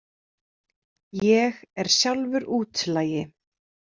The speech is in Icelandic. Ég er sjálfur útlagi.